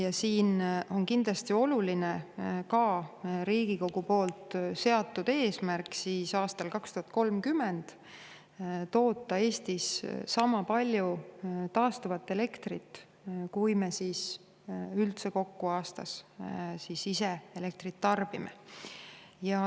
Ja siin on kindlasti oluline Riigikogu seatud eesmärk aastal 2030 toota Eestis sama palju taastuvat elektrit, kui me ise aastas üldse kokku elektrit tarbime.